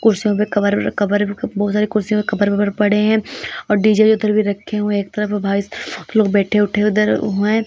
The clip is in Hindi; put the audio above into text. कुर्सियों के कवर अवर बहोत सारे कुर्सियों पे कवर अवर पड़े है और डीजे उधर भी रखे हुए है एक तरफ लोग बेठे उठे उधर हुए --